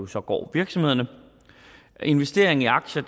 så går virksomhederne investeringen i aktier